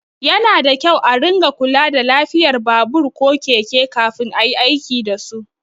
Yana da kyau a ringa kula da lafiyar babur ko keke kafin ayi aiki dasu.